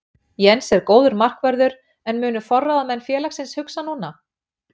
Jens er góður markvörður en munu forráðamenn félagsins hugsa núna?